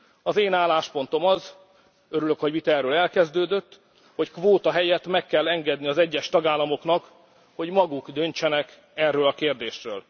Az én álláspontom az, örülök, hogy a vita erről elkezdődött, hogy kvóta helyett meg kell engedni az egyes tagállamoknak, hogy maguk döntsenek erről a kérdésről.